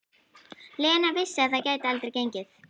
Lena vissi að það gæti aldrei gengið.